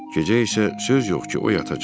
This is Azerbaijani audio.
Gecə isə söz yox ki, o yatacaq.